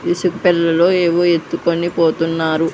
ఇసుక పెల్లలో ఏవో ఎత్తుకొని పోతున్నారు.